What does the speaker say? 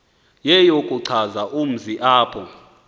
yeyokuchaza umzi apho